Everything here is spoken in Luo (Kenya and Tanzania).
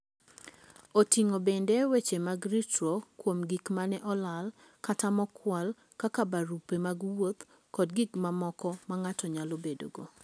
Oting'o bende weche mag ritruok kuom gik ma ne olal kata mokwal kaka barupe mag wuoth kod gik mamoko ma ng'ato nyalo bedogo.